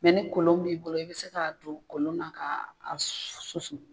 Mɛ ni kolon b'i bolo i bɛ se k'a don kolon na ka susu.